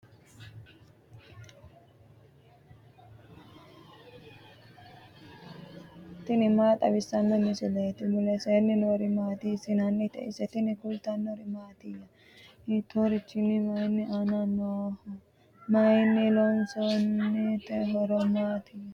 tini maa xawissanno misileeti ? mulese noori maati ? hiissinannite ise ? tini kultannori mattiya? Hittorichootti? Mayi aanna nooho? Mayiinni loosamminno? horosi maattiya?